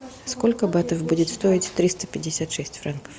сколько батов будет стоить триста пятьдесят шесть франков